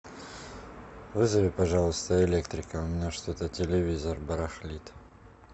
вызови пожалуйста электрика у меня что то телевизор барахлит